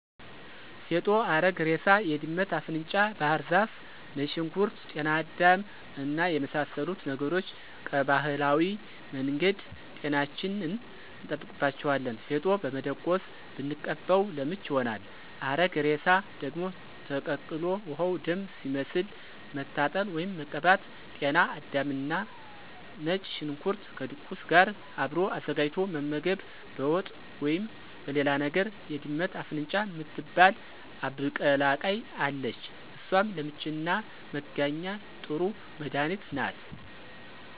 ፌጦ፣ አረግ እሬሳ፣ የድመት አፍንጫ ባህር ዛፍ፣ ነጭ ሽንኩርት፣ ጤና አዳም እና የመሳሰሉት ነገሮች ቀባህላዊ መንገድ ጤናችንን እንጠብቅባቸዋለን። ፌጦ በመደቆስ ብንቀባው ለምች ይሆናል። አረግ እሬሳ ደግሞ ተቀቅሎ ውሀው ደም ሲመስል መታጠን ወይም መቀባት።። ጤና አዳምና ነጭ ሽንኩርት ከድቁስ ጋር አብሮ አዘጋጅቶ መመገብ በወጥ ወይም በሌላ ነገር። የድመት አፍንጫ ምትባል አብቀላቅይ አለች እሷም ለምችና መጋኛ ጥሩ መድኃኒት ናት።